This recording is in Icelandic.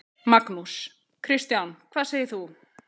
Magnús: Kristján, hvað segir þú?